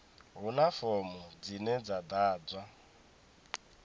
huna fomo dzine dza ḓadzwa